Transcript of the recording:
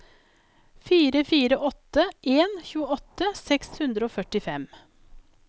fire fire åtte en tjueåtte seks hundre og førtifem